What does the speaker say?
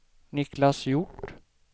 Niklas Hjort